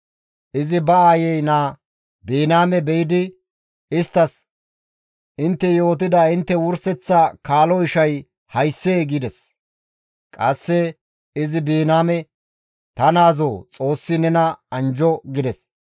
Izi ba aayey naa Biniyaame be7idi isttas, «Intte yootida intte wurseththa kaalo ishay hayssee?» gides. Qasse izi Biniyaame, «Ta naazoo Xoossi nena anjjo» gides.